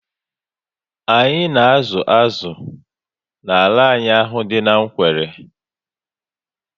Anyị na azụ azụ n'ala anyị ahụ dị n'Nkwelle